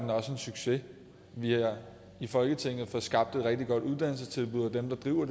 succes vi har i folketinget fået skabt et rigtig godt uddannelsestilbud og dem der driver